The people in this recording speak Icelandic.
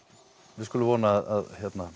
við skulum vona að